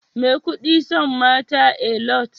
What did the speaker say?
Maikudi son mata Alot